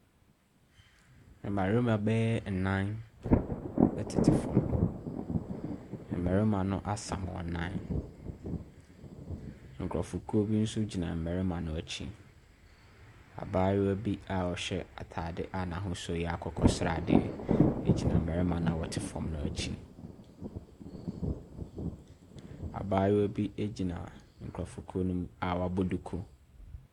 Mmarima bɛyɛɛɛ nnan tete fam. Mmarima no asam wɔn nan. Nkurɔfokuo bi nso gyina mmarima no akyi. Abaayewa bi a ɔhyɛ atadeɛ a n'ahosuo yɛ akokɔsradeɛ gyina mmarima no a wɔte fam no akyi. Abaayewa bi gyina nkurɔfokuo no mu a wabɔ duku.